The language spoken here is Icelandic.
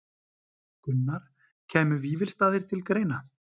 Gunnar: Kæmu Vífilsstaðir til greina?